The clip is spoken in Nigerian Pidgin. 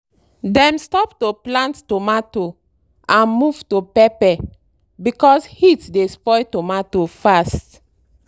dem stop to plant tomato and move to pepper because heat dey spoil tomato fast.